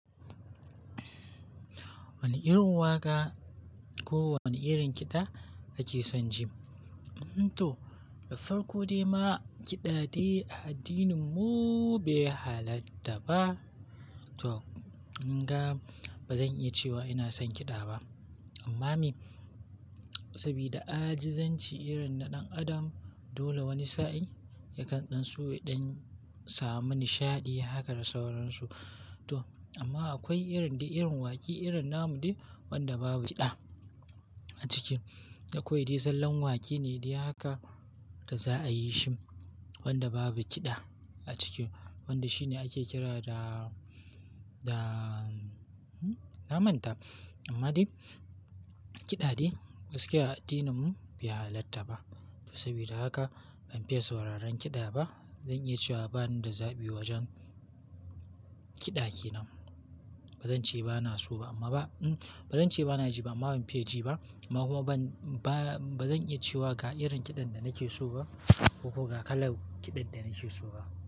Wani irin waƙa ko wani irin kiɗa kake son ji? To da farko dai ma kiɗa dai a addininmu bai halatta ba. To, in ga ba zan iya cewa ina son kiɗa ba. Amma me, saboda ajizanci irin na ɗan adam dole wani sa'in yakan ɗansu dan samu nishaɗi haka da sauransu. To amma akwai irin da irin waƙi irin namu dai wanda babu kiɗa a ciki. Akwai dai zallan waƙi ne dai haka da za a yi shi wanda babu kiɗa a ciki. Wanda shi ne ake kira da, da, na manta. Amma dai kiɗa dai gaskiya a addininmu bai halatta ba. To saboda haka ban fiye sauraron kiɗa ba. Zan iya cewa bani da zabi wajen kiɗa ke nan. Ba zan ce bana so ba amma ba, ba zan ce bana ji ba amma ban fiye ji ba. Amma kuma ban, ba, ba zan iya cewa ga irin kiɗan da nake so ba ko ga kalar kiɗan da nake so ba.